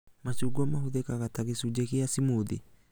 Macungwa mahũthĩkaga ta gĩcunjĩ kĩa cimuthi